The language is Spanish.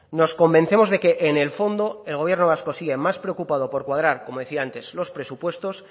nos convencemos de que en el fondo el gobierno vasco sigue más preocupado por cuadrar como decía antes los presupuestos